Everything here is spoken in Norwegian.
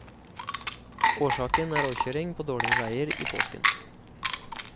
Årsaken er råkjøring på dårlige veier i påsken.